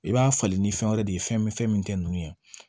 I b'a falen ni fɛn wɛrɛ de ye fɛn min fɛn min tɛ nunnu ye